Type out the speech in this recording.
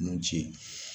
Nun ci